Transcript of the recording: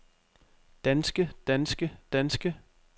danske danske danske